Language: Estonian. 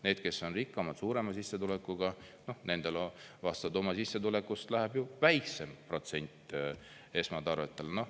Need, kes on rikkamad, suurema sissetulekuga, nendel vastavalt oma sissetulekust läheb ju väiksem protsent esmatarvetele.